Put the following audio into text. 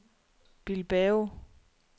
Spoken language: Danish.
Bilbao